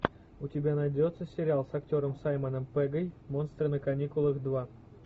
у тебя найдется сериал с актером саймоном пеггом монстры на каникулах два